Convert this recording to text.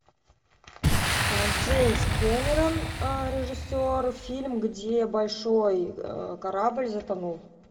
джеймс кэмерон режиссер фильм где большой корабль затонул